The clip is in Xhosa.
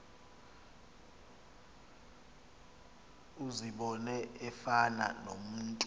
uzibone efana nomntu